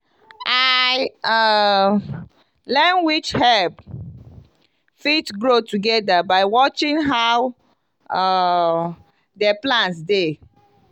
i um learn which herb fit grow together by watching how um the plants dey.